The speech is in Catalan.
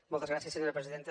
moltes gràcies senyora presidenta